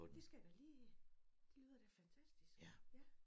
Det skal jeg da lige det lyder da fantastisk ja